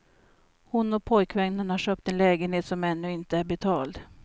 Hon och pojkvännen har köpt en lägenhet som ännu inte är betalad.